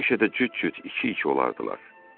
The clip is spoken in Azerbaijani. Həmişə də cüt-cüt iki-iki olardılar.